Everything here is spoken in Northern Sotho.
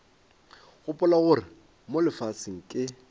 gopola gore mo lefaseng ke